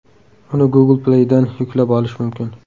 Uni Google Play’dan yuklab olish mumkin.